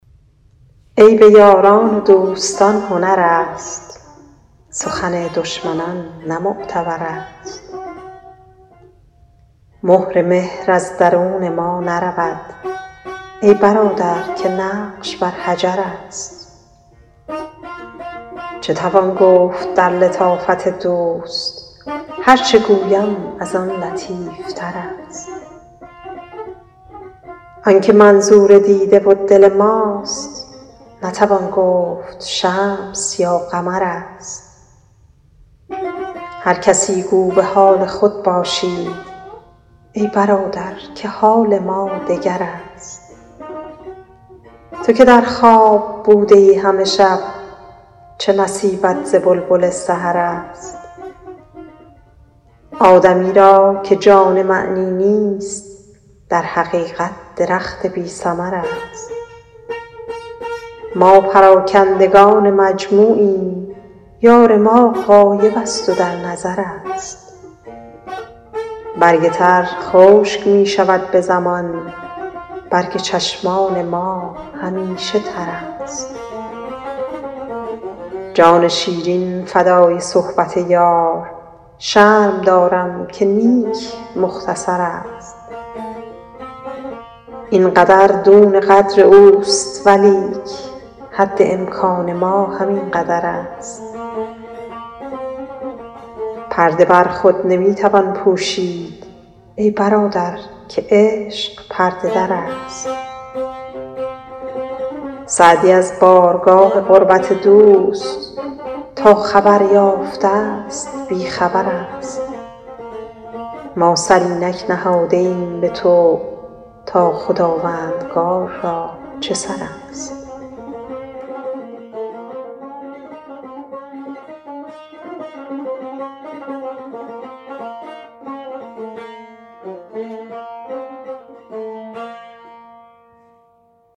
عیب یاران و دوستان هنر است سخن دشمنان نه معتبر است مهر مهر از درون ما نرود ای برادر که نقش بر حجر است چه توان گفت در لطافت دوست هر چه گویم از آن لطیف تر است آن که منظور دیده و دل ماست نتوان گفت شمس یا قمر است هر کسی گو به حال خود باشید ای برادر که حال ما دگر است تو که در خواب بوده ای همه شب چه نصیبت ز بلبل سحر است آدمی را که جان معنی نیست در حقیقت درخت بی ثمر است ما پراکندگان مجموعیم یار ما غایب است و در نظر است برگ تر خشک می شود به زمان برگ چشمان ما همیشه تر است جان شیرین فدای صحبت یار شرم دارم که نیک مختصر است این قدر دون قدر اوست ولیک حد امکان ما همین قدر است پرده بر خود نمی توان پوشید ای برادر که عشق پرده در است سعدی از بارگاه قربت دوست تا خبر یافته ست بی خبر است ما سر اینک نهاده ایم به طوع تا خداوندگار را چه سر است